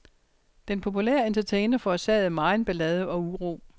Den populære entertainer forårsagede megen ballade og uro.